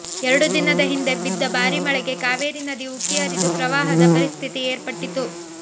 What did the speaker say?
ಎರಡು ದಿನದ ಹಿಂದೆ ಬಿದ್ದ ಭಾರೀ ಮಳೆಗೆ ಕಾವೇರಿ ನದಿ ಉಕ್ಕಿ ಹರಿದು ಪ್ರವಾಹದ ಪರಿಸ್ಥಿತಿ ಏರ್ಪಟ್ಟಿತ್ತು